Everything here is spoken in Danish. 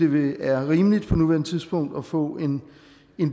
vi det er rimeligt på nuværende tidspunkt at få en